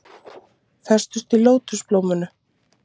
Festust í lótusblóminu